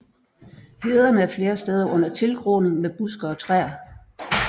Hederne er flere steder under tilgroning med buske og træer